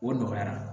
O nɔgɔyara